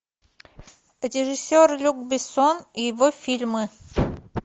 режиссер люк бессон и его фильмы